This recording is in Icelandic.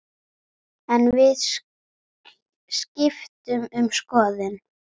En við skiptum um skoðun.